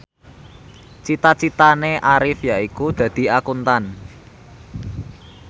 cita citane Arif yaiku dadi Akuntan